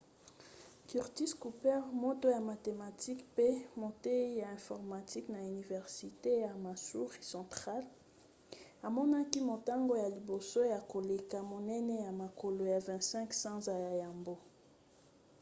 curtis cooper moto ya mathematike mpe moteyi ya informatique na université ya missouri central amonaki motango ya liboso ya koleka monene na mokolo ya 25 sanza ya yambo